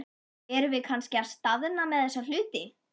Erum við kannski að staðna með þessa hluti?